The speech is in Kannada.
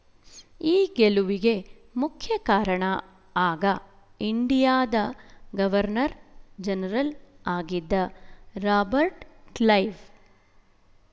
ಈ ಗೆಲುವಿಗೆ ಮುಖ್ಯ ಕಾರಣ ಆಗ ಇಂಡಿಯಾದ ಗವರ್ನರ್ ಜನರಲ್ ಆಗಿದ್ದ ರಾಬರ್ಟ್ ಕ್ಲೈವ್